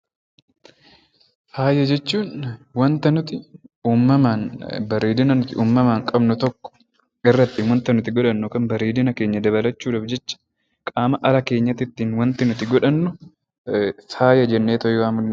Faaya jechuun waanta nuti uumamaan bareedina nuti uumamaan qabnu tokko irratti waanti nuti godhannu yookaan bareedina keenya dabalachuudhaaf jecha qaama ala keenyaatti waanti nuti godhannu faaya jennee waamuu ni dandeenya.